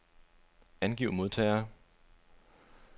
Angiv modtagere.